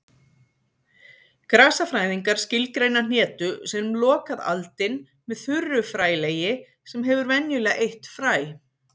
Grasafræðingar skilgreina hnetu sem lokað aldin með þurru frælegi sem hefur venjulega eitt fræ.